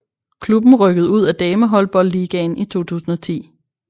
Klubben rykkede ud af damehåndboldligaen i 2010